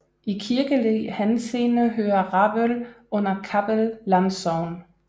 I kirkelig henseende hører Rabøl under Kappel Landsogn